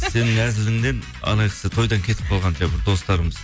сенің әзіліңнен кісі тойдан кетіп қалған достарымыз